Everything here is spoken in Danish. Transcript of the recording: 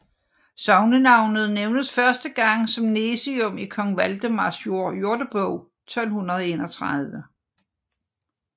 Sognenavnet nævnes første gang som Nesium i Kong Valdemars Jordebog 1231